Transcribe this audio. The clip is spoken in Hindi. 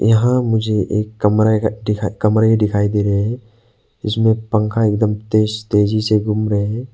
यहां मुझे एक कमरे का दिखाई कमरे दिखाई दे रहे हैं इसमें पंखा एक तेज तेजी से घूम रहे हैं।